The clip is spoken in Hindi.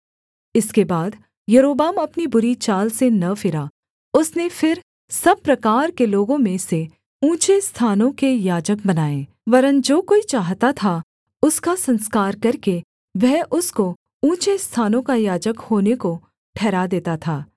इसके बाद यारोबाम अपनी बुरी चाल से न फिरा उसने फिर सब प्रकार के लोगों में से ऊँचे स्थानों के याजक बनाए वरन् जो कोई चाहता था उसका संस्कार करके वह उसको ऊँचे स्थानों का याजक होने को ठहरा देता था